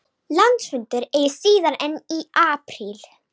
Landsfundur eigi síðar en í apríl